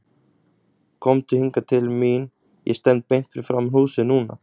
Komdu hingað til mín, ég stend beint fyrir framan húsið núna.